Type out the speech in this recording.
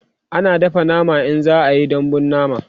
ana dafa nama in za'a Yi dambun nama